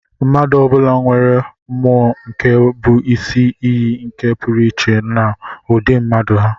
Mmadụ ọ bụla nwere mmụọ nke bụ isi iyi nke pụrụ iche na ụdị mmadụ ha.